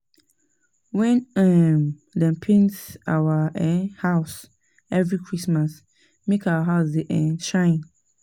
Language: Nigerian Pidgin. We um dey paint our um house every Christmas make our house dey um shine